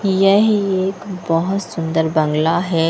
यह एक बहुत सुंदर बंगला है।